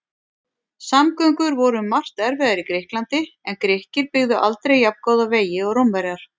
Samgöngur voru um margt erfiðar í Grikklandi en Grikkir byggðu aldrei jafngóða vegi og Rómverjar.